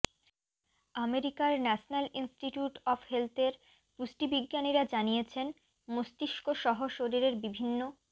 আমেরিকার national institute of হেলথের পুষ্টিবিজ্ঞানীরা জানিয়েছেন মস্তিষ্ক সহ শরীরের বিভিন্ন